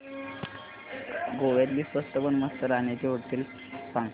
गोव्यातली स्वस्त पण मस्त राहण्याची होटेलं सांग